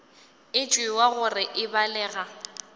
e tšewa gore e balega